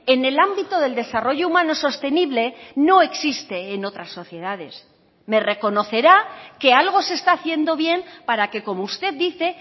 en el ámbito del desarrollo humano sostenible no existe en otras sociedades me reconocerá que algo se está haciendo bien para que como usted dice